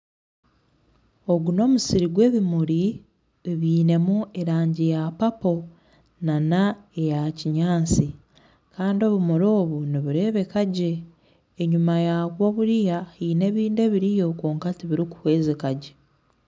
Ogu n'omusiri gwebimuri ogwinemu erangi ya papo nana eya kinyatsi Kandi obumuri obu nibureebeka gye enyima yabwo buriya haine ebindi ebiriyo kwonka tibirikuhwezika gye